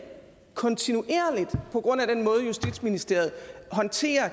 kontinuerligt på grund af den måde justitsministeriet håndterer